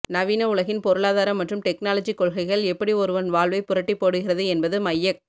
நவீன உலகின் பொருளாதாரம் மற்றும் டெக்னாலஜி கொள்கைகள் எப்படி ஒருவன் வாழ்வைப் புரட்டிப் போடுகிறது என்பது மையக்